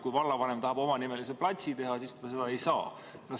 Kui vallavanem tahab omanimelise platsi teha, siis ta seda ei saa.